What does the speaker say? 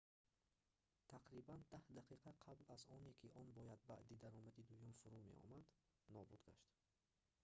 тақрибан даҳ дақиқа қабл аз оне ки он бояд баъди даромади дуюм фуруд меомад нобуд гашт